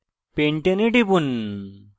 pentane এ টিপুন